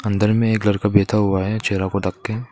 अंदर में एक लड़का बैठा हुआ है चेहरा को ढक के।